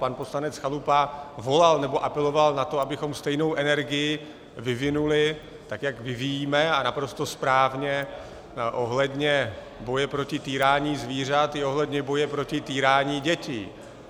Pan poslanec Chalupa volal, nebo apeloval na to, abychom stejnou energii vyvinuli, tak jak vyvíjíme, a naprosto správně, ohledně boje proti týrání zvířat, i ohledně boje proti týrání dětí.